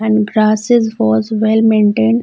And grasses was well maintained.